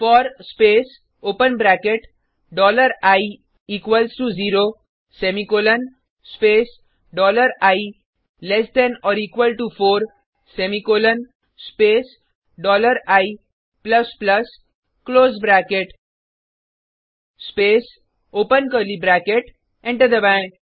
four space open bracket dollar I equals to zero semicolon space dollar I less than or equal to four semicolon space dollar I plus plus close bracket space open curly bracket enter दबाएँ